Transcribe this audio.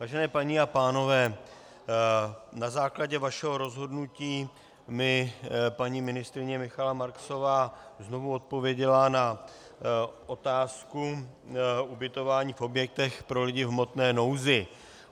Vážené paní a pánové, na základě vašeho rozhodnutí mi paní ministryně Michaela Marksová znovu odpověděla na otázku ubytování v objektech pro lidi v hmotné nouzi.